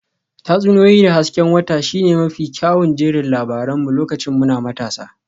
Tatsuniyoyi da hasken wata shine mafi kyawun jerin labaran mu lokacin muna matasa